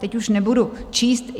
Teď už nebudu číst.